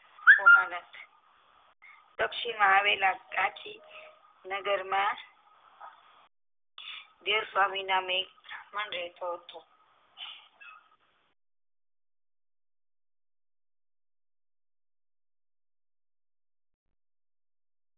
દક્ષિણ માં આવેલા કાંચી નગરમાં દેવસ્વામી નામે એક માણસ રહેતો હતો